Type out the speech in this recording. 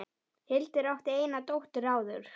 Hildur átti eina dóttur áður.